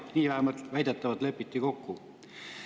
Nii lepiti väidetavalt kokku.